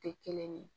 Tɛ kelen ye